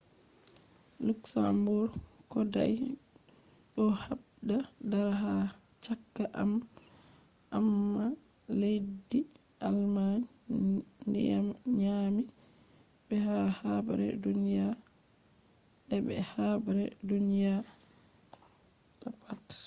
luxembourg kodai do habda dara ha chaka amma leddi jamus nyaami be ha habre duniya i be habre duniya ii pat